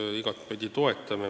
Me igatepidi seda toetame.